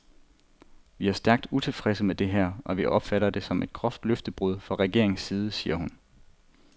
Vi er stærkt utilfredse med det her, og vi opfatter det som et groft løftebrud fra regeringens side, siger hun.